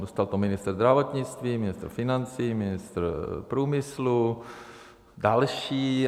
Dostal to ministr zdravotnictví, ministr financí, ministr průmyslu, další.